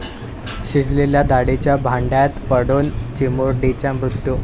शिजलेल्या डाळीच्या भांड्यात पडून चिमुरडीचा मृत्यू